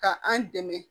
Ka an dɛmɛ